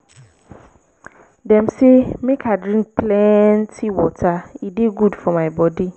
dem sey make i dey drink plenty water e dey good for my bodi.